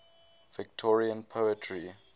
victorian poetry